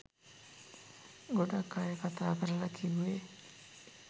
ගොඩක් අය කතා කරලා කිව්වේ